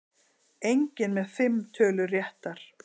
Enginn með fimm tölur réttar